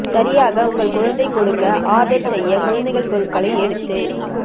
சரியாக உங்கள் குழந்தை கொடுக்க ஆர்டர் செய்ய குழந்தைகள் பொருட்களை எடுத்து